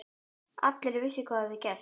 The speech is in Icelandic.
Allir vissu hvað hafði gerst.